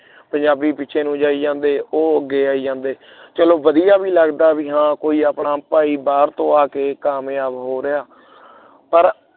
ਪੰਜਾਬੀ ਪਿੱਛੇ ਨੂੰ ਜਾਈ ਜਾਂਦੇ ਉਹ ਅੱਗੇ ਆਈ ਜਾਂਦੇ ਚਲੋ ਵਧੀਆ ਵੀ ਲੱਗਦਾ ਕੋਈ ਆਪਣਾ ਭਾਈ ਬਾਹਰ ਤੋਂ ਆਕੇ ਕਾਮਯਾਬ ਹੋ ਰਿਹਾ ਪਰ